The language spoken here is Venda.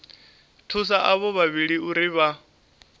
thusa avho vhavhili uri vha